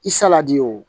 I saladi o